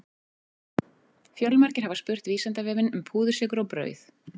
Fjölmargir hafa spurt Vísindavefinn um púðursykur og brauð.